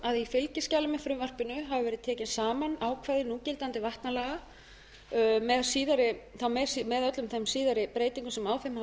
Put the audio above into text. að í fylgiskjali með frumvarpinu hafa verið tekin saman ákvæði núgildandi vatnalaga með öllum þeim síðari breytingum sem á þeim hafa